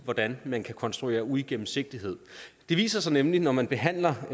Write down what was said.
hvordan man kan konstruere uigennemsigtighed det viser sig nemlig når man behandler